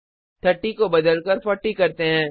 30 को बदलकर 40 करते हैं